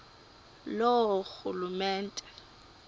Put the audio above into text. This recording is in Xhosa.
loorhulumente